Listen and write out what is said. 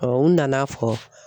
n nana fɔ.